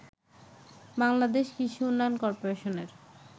বাংলাদেশ কৃষি উন্নয়ন কর্পোরেশনের